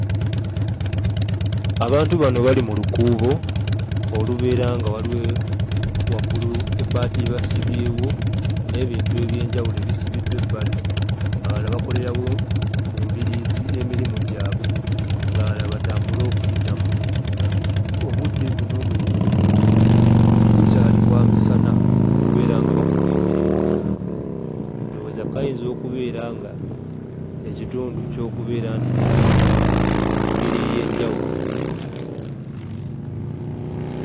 Abantu bano bali mu lukuubo olubeera nga waliwo waggulu ebbaati lye basibyewo n'ebintu eby'enjawulo ebisibiddwa ebbali, abalala bakolerawo mu mbiriizi emirimu gyabwe, abalala bwe batambula okuyitamu. Obudde buno bwennyini bukyali bwa misana okubeera nga bakola emirimu gyabwe, ndowooza kayinza okubeera ng'ekitundu kyo okubeera nga kya katale mu ngeri ey'enjawulo.